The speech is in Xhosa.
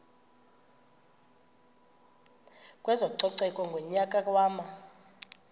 kwezococeko ngonyaka wama